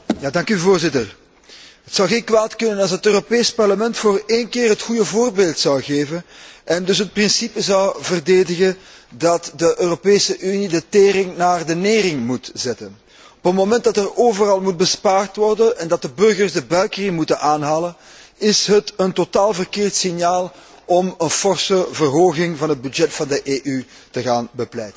Voorzitter, het zou geen kwaad kunnen als het Europees Parlement voor een keer het goede voorbeeld zou geven, en dus het principe zou verdedigen dat de Europese Unie de tering naar de nering moet zetten. Op het moment dat er overal bespaard moet worden en dat de burgers de buikriem moeten aanhalen, is het een totaal verkeerd signaal om een forse verhoging van de begroting van de EU te gaan bepleiten.